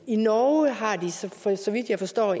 i norge har de så så vidt jeg forstår